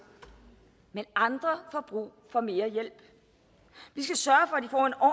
men andre får brug for mere hjælp vi skal sørge